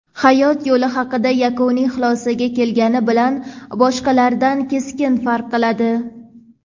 hayot yo‘li haqida yakuniy xulosaga kelgani bilan boshqalardan keskin farq qiladi.